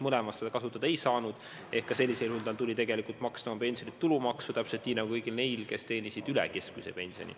Mõlemas seda kasutada ei saanud, seega ka sellisel juhul tal tuli tegelikult maksta oma pensionilt tulumaksu täpselt nii nagu kõigil neil, kes teenisid üle keskmise pensioni.